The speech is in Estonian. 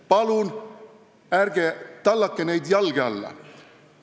Palun ärge tallake neid jalge alla!